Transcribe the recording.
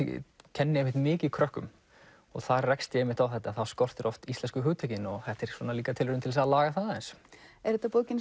kenni mikið krökkum og þar rekst ég á þetta að þá skortir oft íslensku hugtökin og þetta er líka tilraun til að laga það aðeins er þetta bókin